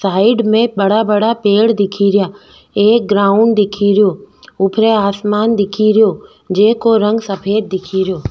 Side में बड़ा बड़ा पेड़ दिखीरया एक ग्राउंड दिखीरयो ऊपरे आसमान दिखीरयो जेको रंग सफ़ेद दिखीरयो।